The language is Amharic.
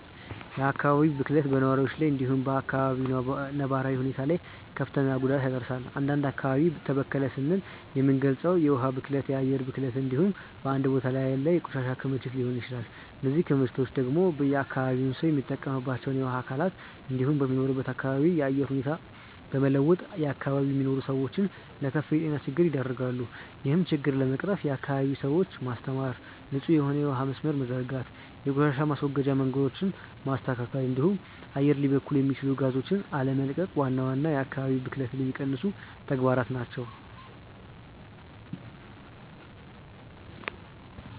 የአካባቢ ብክለት በነዋሪዎች ላይ እንዲሁም በ አካባቢው ነባራዊ ሁኔታ ላይ ክፍትን ጉዳት ያደርሳል። አንድ አካባቢ ተበከለ ስንል የምንልገጸው የውሀ ብክለትን፣ የአየር ብክለትን እንዲሁም በአንድ ቦታ ላይ ያለ የቆሻሻ ክምችትን ሊሆን ይችላል። እነዚህ ክምችቶች ደግሞ የአካባቢው ሰው የሚጠቀምባቸውን የውሀ አካላት እንዲሁም የሚኖርበትን አካባቢ የአየር ሁኔታ በመለወጥ በአካባቢው የሚኖሩትን ሰዎች ለከፋ የጤና ችግር ይደረጋሉ። ይህን ችግር ለመቅረፍም የአካባቢውን ሰዎች ማስተማር፣ ንጹህ የሆነ የውሀ መስመርን መዘርጋት፣ የቆሻሻ ማስወገጃ መንገዶችን ማስተካከል እንዲሁም አየር ሊበክሉ የሚችሉ ጋዞችን አለመቀቅ ዋና ዋና የአካባቢ ብክለትን የሚቀንሱ ተግባራት ናቸው።